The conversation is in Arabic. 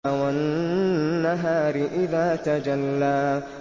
وَالنَّهَارِ إِذَا تَجَلَّىٰ